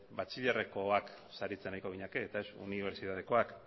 batxilerrekoak saritzen ariko ginateke eta ez unibertsitatekoak